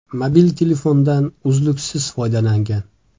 Mobil telefondan uzluksiz foydalangan.